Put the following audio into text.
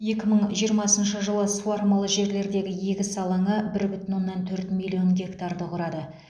екі мың жиырмасыншы жылы суармалы жерлердегі егіс алаңы бір бүтін оннан төрт миллион гектарды құрады